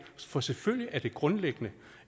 for selvfølgelig er det grundlæggende